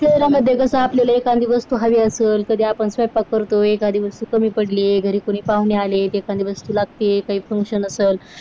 शहरांमध्ये कसं आपल्याला एखादी वस्तू हवी असते. सध्या पण स्वयंपाक करतोय एखादी वस्तू पाण्यात पडले घरी कोणी घरी कोणी पाहुणे आले आहेत. एखादी वस्तू लागते काही फंक्शन असेल.